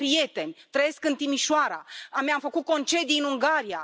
Eu am prieteni, trăiesc în Timișoara, mi am făcut concedii în Ungaria.